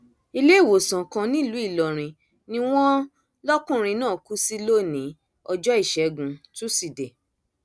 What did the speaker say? iléewòsàn kan nílùú ìlọrin ni wọn lọkùnrin náà kú sí lónìí ọjọ ìṣẹgun túṣídéé